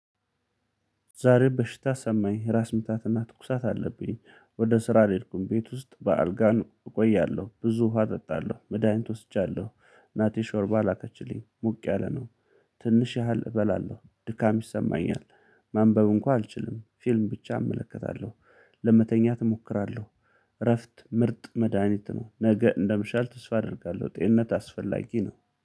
ዛሬ በሽታ ሰማኝ፤ እራስ ምታትና ትኩሳት አለብኝ። ወደ ስራ አልሄድኩም ቤት ውስጥ በአልጋ እቆያለሁ፤ ብዙ ውሃ እጠጣለሁ፤ መድሃኒት ወስጃለሁ። እናቴ ሾርባ ላከችልኝ ሞቅ ያለ ነው። ትንሽ ያህል እበላለሁ፤ ድካም ይሰማኛል፤ ማንበብ እንኳን አልችልም፤ ፊልም ብቻ እመለከታለሁ፤ ለመተኛት እሞክራለሁ እረፍት ምርጥ መድሃኒት ነው፤ ነገ እንደምሻል ተስፋ አደርጋለሁ፤ ጤንነት አስፈላጊ ነው።